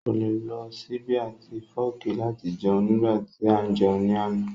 Kò le lo ṣíbí àti fọ́ọ̀kì láti jẹun nígbà tí à ń jẹun ní àná